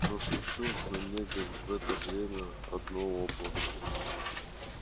но случилось на небе в это время одно облако